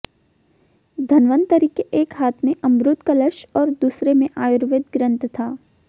धनवंतरि के एक हाथ में अमृत कलश और दूसरे में आयुर्वेद ग्रंथ था